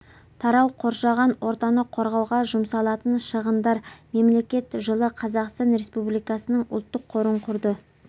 тарау қоршаған ортаны қорғауға жұмсалатын шығындар мемлекет жылы қазақстан республикасының ұлттық қорын құрды